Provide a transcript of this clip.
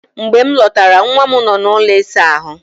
Mgbe m lọtara, nwa m nọ n'ụlọ ịsa ahụ.